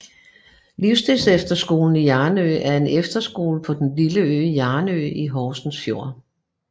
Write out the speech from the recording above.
Livsstilsefterskolen Hjarnø er en efterskole på den lille ø Hjarnø i Horsens Fjord